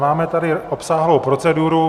Máme tady obsáhlou proceduru.